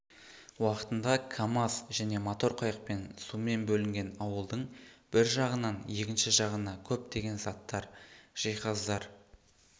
уақытында камаз және мотор қайықпен сумен бөлінген ауылдың бір жағынан екінші жағына көптеген заттар жиһаздар